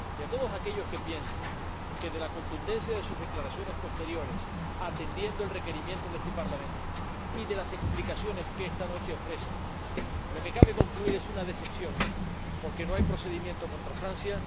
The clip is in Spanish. Hay quienes piensan que, de la contundencia de sus declaraciones posteriores —atendiendo el requerimiento de este Parlamento— y de las explicaciones que esta noche ofrece, lo que cabe concluir es una decepción porque no hay procedimiento contra Francia.